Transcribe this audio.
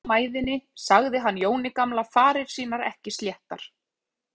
Þegar maðurinn hafði kastað mæðinni sagði hann Jóni gamla farir sínar ekki sléttar.